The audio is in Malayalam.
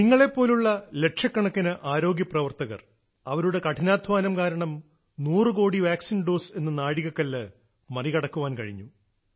നിങ്ങളെപ്പോലുള്ള ലക്ഷക്കണക്കിന് ആരോഗ്യ പ്രവർത്തകർ അവരുടെ കഠിനാധ്വാനം കാരണം നൂറു കോടി വാക്സിൻ ഡോസ് എന്ന നാഴികക്കല്ല് മറികടക്കാൻകഴിഞ്ഞു